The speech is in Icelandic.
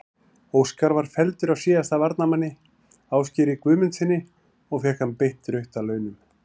Óskar var felldur af síðasta varnarmanni, Ásgeiri Guðmundssyni og fékk hann beint rautt að launum.